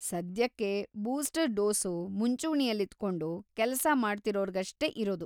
ಸದ್ಯಕ್ಕೆ booster dose ಮುಂಚೂಣಿಲಿದ್ಕೊಂಡು ಕೆಲ್ಸ ಮಾಡ್ತಿರೋರ್ಗಷ್ಟೇ ಇರೋದು.